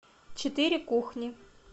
четыре кухни